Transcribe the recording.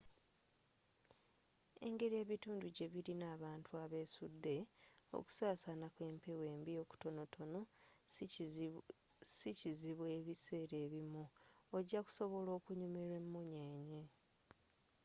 engeri ebitundu gye birina abantu abesudde okusasaana kw'empewo embi okutonotono sikizibu ebiseera ebimu ojja kusobola okunyumirwa emunyeenye